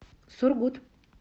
сургут